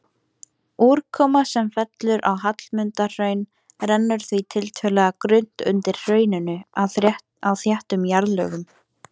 Úrkoma sem fellur á Hallmundarhraun rennur því tiltölulega grunnt undir hrauninu á þéttum jarðlögum.